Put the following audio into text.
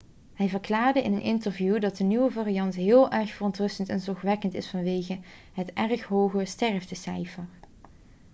hij verklaarde in een interview dat de nieuwe variant heel erg verontrustend en zorgwekkend is vanwege het erg hoge sterftecijfer'